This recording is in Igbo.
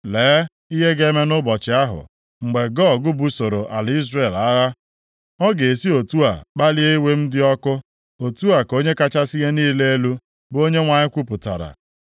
Lee ihe ga-eme nʼụbọchị ahụ. Mgbe Gog busoro ala Izrel agha, ọ ga-esi otu a kpalie iwe m dị ọkụ. Otu a ka Onye kachasị ihe niile elu, bụ Onyenwe anyị kwupụtara.